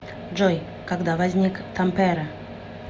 джой когда возник тампере